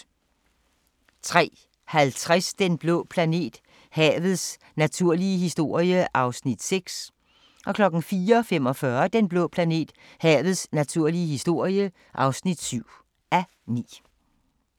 03:50: Den blå planet – havets naturlige historie (6:9) 04:45: Den blå planet – havets naturlige historie (7:9)